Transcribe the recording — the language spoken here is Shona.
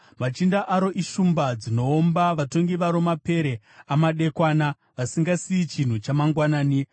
Machinda aro ishumba dzinoomba, vatongi varo mapere amadekwana, vasingasiyi chinhu chamangwanani.